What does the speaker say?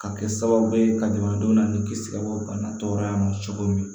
Ka kɛ sababu ye ka jamanadenw ni kisi ka bɔ bana tɔɔrɔya ma cogo min na